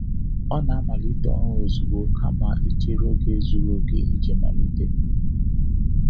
Ọ na-amalite ọrụ ozugbo kama ichere oge zuru oke iji malite.